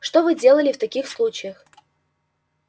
что вы делали в таких случаях